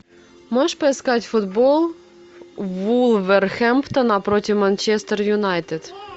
можешь поискать футбол вулверхэмптона против манчестер юнайтед